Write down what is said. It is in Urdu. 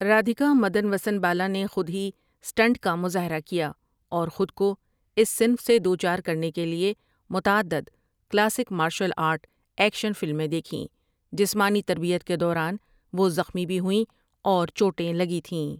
رادھیکا مدن وسن بالا نے خود ہی اسٹنٹ کا مظاہرہ کیا اور خود کو اس صنف سے دوچار کرنے کے لیے متعدد کلاسک مارشل آرٹ ایکشن فلمیں دیکھیں جسمانی تربیت کے دوران وہ زخمی بھی ہوئیں اور چوٹیں لگی تھیں ۔